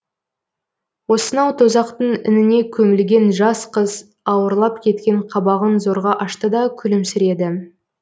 осынау тозақтың ініне көмілген жас қыз ауырлап кеткен қабағын зорға ашты да күлімсіреді